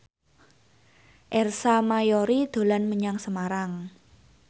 Ersa Mayori dolan menyang Semarang